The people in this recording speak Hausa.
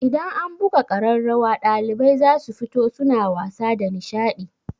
Idan an buga ƙararrawa ɗalibai za su fito suna wasa da nishaɗi.